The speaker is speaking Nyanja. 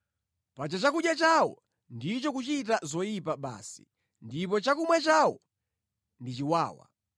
Paja chakudya chawo ndicho kuchita zoyipa basi ndipo chakumwa chawo ndi chiwawa.